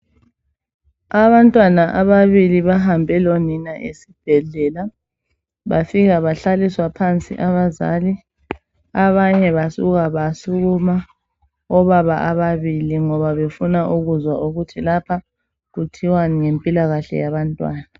Abantwana ababili bahambe lonina esibhedlela bafika bahlaliswa phansi abazali abanye basuka basukuma obaba ababili ngoba befuna ukuzwa ukuthi lapha kuthiwani ngempilakahle yabantwana